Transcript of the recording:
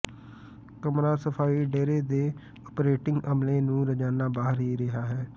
ਕਮਰਾ ਸਫਾਈ ਡੇਰੇ ਦੇ ਓਪਰੇਟਿੰਗ ਅਮਲੇ ਨੂੰ ਰੋਜ਼ਾਨਾ ਬਾਹਰ ਹੀ ਰਿਹਾ ਹੈ